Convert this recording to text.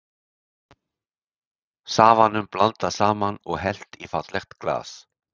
Safanum blandað saman og hellt í fallegt glas.